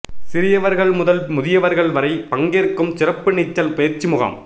சிறியவர்கள் முதல் முதியவர்கள் வரை பங்கேற்கும் சிறப்பு நீச்சல் பயிற்சி முகாம்